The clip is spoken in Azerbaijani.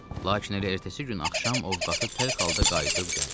Lakin elə ertəsi gün axşam Ovqatı tərk halda qayıdıb gəldi.